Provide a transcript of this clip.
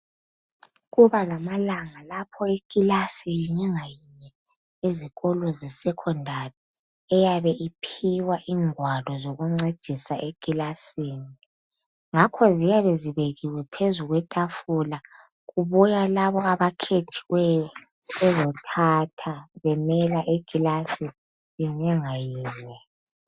Kuba lamalanga lapho ikilasi yinye ngayinye ezikolo zesecondary eyabe iphiwa ingwalo zoku ncedisa ekilasini ngakho ziyabe zibekiwe phezu kwetafula kubuya labo abakhethiweyo bezothatha benika ikilasi yinye ngayinye.